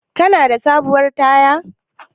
Kana da sabuwar taya?